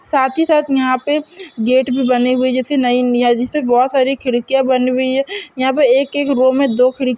साथ ही साथ यहाँ पे गेट भी बने हुए हैं जैसे नई जैसे बहुत सारी खिड़कियाँ बनी हुई है यहाँ पे एक एक रो में दो खिड़कियाँ --